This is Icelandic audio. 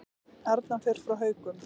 Arnar fer frá Haukum